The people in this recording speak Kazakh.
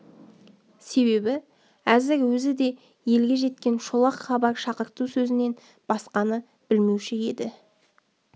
себебі әзір өзі де елге жеткен шолақ хабар шақырту сөзінен басқаны білмеуші еді